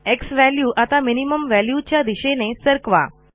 z value आता minimum व्हॅल्यूच्या दिशेने सरकवा